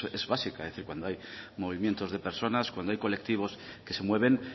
es básica es decir cuando hay movimiento de personas cuando hay colectivos que se mueven